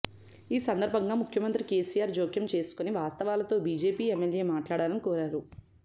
ఈ సందర్భంగా ముఖ్యమంత్రి కేసీఆర్ జోక్యం చేసుకుని వాస్తవాలతో బీజేపీ ఎమ్మెల్యే మాట్లాడాలని కోరారు